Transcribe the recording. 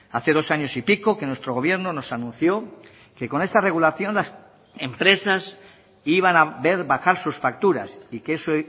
hace dos años y pico que nuestro gobierno nos anunció que con esta regulación las empresas iban a ver bajar sus facturas y que eso